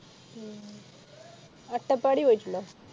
ഉം അട്ടപ്പാടി പോയിറ്റിണ്ടോ